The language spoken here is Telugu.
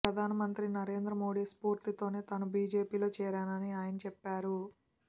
ప్రధానమంత్రి నరేంద్ర మోడీ స్ఫూర్తితోనే తాను బిజెపిలో చేరానని ఆయన చెప్పారు